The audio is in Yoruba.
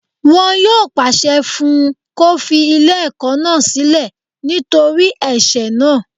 Wọn yóò pàṣẹ fún un kó fi ilé ẹ̀kọ́ náà sílẹ̀ nítorí ẹ̀sẹ̀ náà